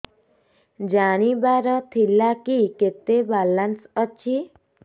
ଜାଣିବାର ଥିଲା କି କେତେ ବାଲାନ୍ସ ଅଛି